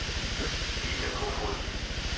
Vita Kofod